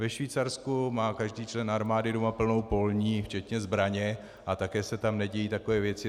Ve Švýcarsku má každý člen armády doma plnou polní včetně zbraně a také se tam nedějí takové věci.